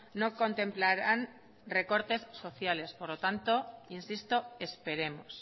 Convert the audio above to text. no contemplarán recortes sociales por lo tanto insisto esperemos